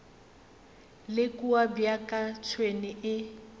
le kua bjaka tšhwene e